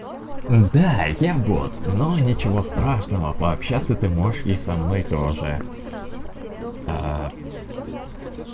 да я бот но ничего страшного пообщаться ты можешь и со мной тоже